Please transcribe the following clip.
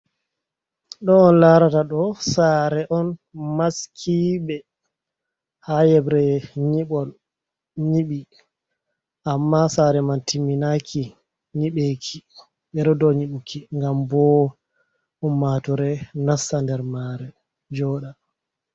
Ɗo on larata ɗo sare on maskiɗe ha yebre niɓol nyiɓi amma sare man timminaki nyiɓeki ɓe ɗo dow nyiɓuki ngam bo ummatore nasta nder mare joɗa.